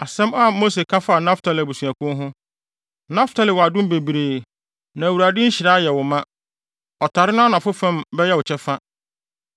Asɛm a Mose ka faa Naftali abusuakuw ho: “Naftali wɔ adom bebree na Awurade nhyira ayɛ wo ma; ɔtare no anafo fam bɛyɛ wo kyɛfa.”